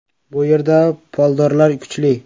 Bu yerda puldorlar kuchli.